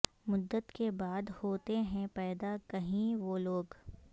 مدت کے بعد ہوتے ہیں پیدا کہیں وہ لوگ